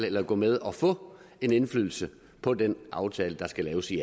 eller at gå med og få indflydelse på den aftale der skal laves i